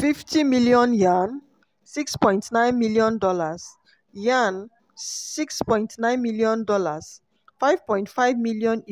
fifty million yuan ($6.9m; yuan ($6.9m; £5.5m)